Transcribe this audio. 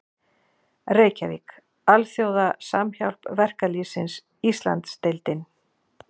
Reykjavík: Alþjóða Samhjálp Verkalýðsins Íslandsdeildin.